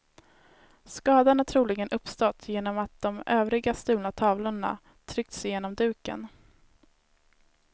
Skadan har troligen uppstått genom att de övriga stulna tavlorna tryckts igenom duken.